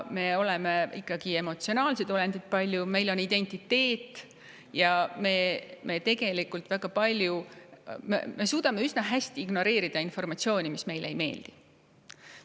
Me oleme paljuski ikkagi emotsionaalsed olendid, meil on oma identiteet ja me tegelikult suudame üsna hästi ignoreerida informatsiooni, mis meile ei meeldi.